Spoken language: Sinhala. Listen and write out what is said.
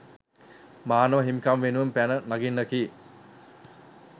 මානව හිමිකම් වෙනුවෙන් පැන නගින්නකි